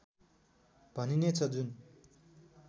भनिने छ जुन